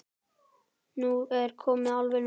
Nú er komið alveg nóg!